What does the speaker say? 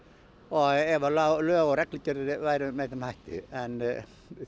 ef lög og reglugerðir væru með þeim hætti en